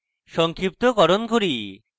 সংক্ষিপ্তকরণ করি